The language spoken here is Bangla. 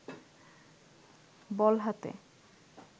বল হাতে